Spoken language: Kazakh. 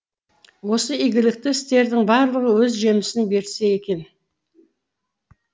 осы игілікті істердің барлығы өз жемісін берсе екен